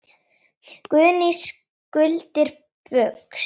Guðný: Skuldir Baugs?